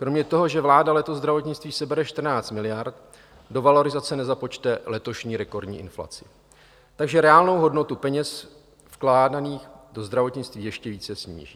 Kromě toho, že vláda letos zdravotnictví sebere 14 miliard, do valorizace nezapočte letošní rekordní inflaci, takže reálnou hodnotu peněz vkládaných do zdravotnictví ještě více sníží.